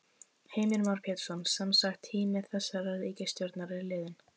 Heimir Már Pétursson: Semsagt tími þessarar ríkisstjórnar er liðinn?